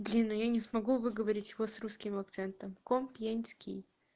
блин ну я не смогу выговорить вас русским акцентом компьенский